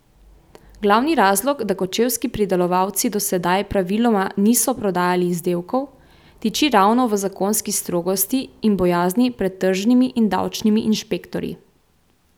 Glavni razlog, da kočevski pridelovalci do sedaj praviloma niso prodajali izdelkov, tiči ravno v zakonski strogosti in bojazni pred tržnimi in davčnimi inšpektorji.